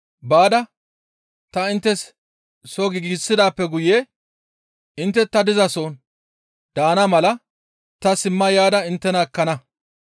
Baada ta inttes soo giigsidaappe guye intte ta dizason daana mala ta simma yaada inttena ekkana.